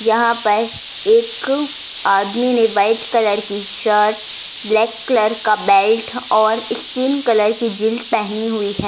यहां पर एक आदमी ने व्हाइट कलर की शर्ट ब्लैक कलर का बेल्ट और स्किन कलर की जींस पहनी हुई है।